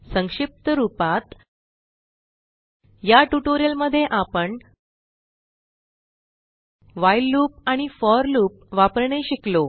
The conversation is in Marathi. संक्षिप्त रूपात या ट्यूटोरियल मध्ये आपण व्हाईल लूप आणि फोर लूप वापरणे शिकलो